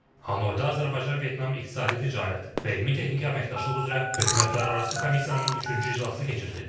Hanoyda Azərbaycan-Vyetnam iqtisadi ticarət və elmi-texniki əməkdaşlıq üzrə hökumətlərarası komissiyanın üçüncü iclası keçirilib.